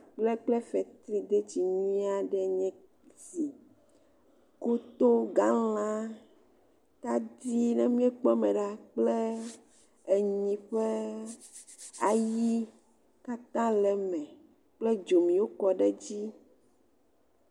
Akpl kple fetridetsi nyuie aɖe nye esi, koto, galã, tadi ne míekpɔ eme la kple enyi ƒe ayi katã le eme, kpe dziwo kɔ ɖe edzi.